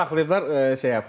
Onu saxlayıblar şeyə.